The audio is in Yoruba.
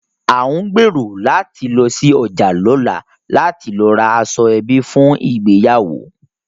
À ń gbèrò láti lọ sí ọjà lọ́la láti lọ ra aṣọ ẹbí fún ìgbéyàwó